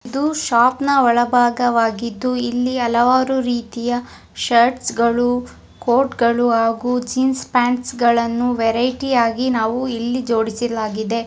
ಇದು ಶಾಪ್ ನಾ ಒಳಭಾಗವಾಗಿದ್ದು ಇಲ್ಲಿ ಹಲವಾರು ರೀತಿಯ ಶರ್ಟ್ಸ್ ಗಳು ಕೋರ್ಟ್ ಗಳು ಹಾಗೂ ಜೀನ್ಸ್ ಪ್ಯಾಂಟ್ ಗಳನ್ನು ವೆರಿಟಿ ಯಾಗಿ ನಾವು ಇಲ್ಲಿ ಜೋಡಿಸಲಾಗಿದೆ.